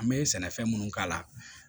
An bɛ sɛnɛfɛn minnu k'a la